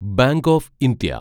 bank of India